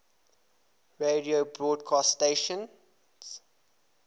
radio broadcast stations